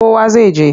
Kowa zai je.